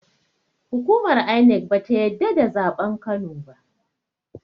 Hukumar INEC bata yadda da zaɓen kano ba